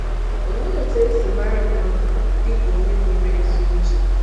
Olee otú e si mara mmadụ dị ka onye nwere ezi uche?